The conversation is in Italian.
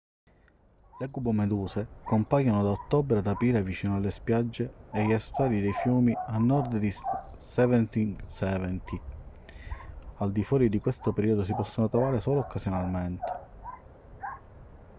le cubomeduse compaiono da ottobre ad aprile vicino alle spiagge e agli estuari dei fiumi a nord di seventeen seventy al di fuori di questo periodo si possono trovare solo occasionalmente